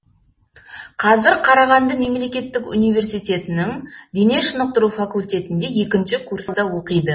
қазір қарағанды мемлекеттік университетінің дене шынықтыру факультетінде екінші курста оқиды